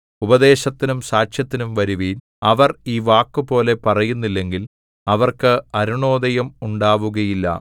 ഉപദേശത്തിനും സാക്ഷ്യത്തിനും വരുവിൻ അവർ ഈ വാക്കുപോലെ പറയുന്നില്ലെങ്കിൽ അവർക്ക് അരുണോദയം ഉണ്ടാവുകയില്ല